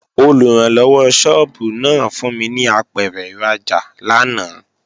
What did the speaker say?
Olùrànlọ́wọ́ sọ́ọ́bù náà fún mi ní apẹ̀rẹ̀ ìrajà lánàá